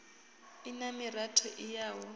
i na miratho i yaho